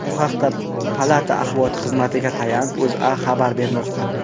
Bu haqda palata axborot xizmatiga tayanib, O‘zA xabar bermoqda .